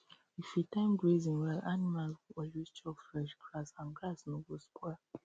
if you time grazing well animals go always chop fresh grass and grass no go spoil